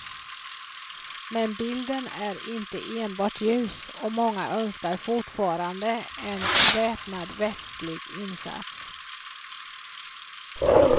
Men bilden är inte enbart ljus, och många önskar fortfarande en väpnad västlig insats.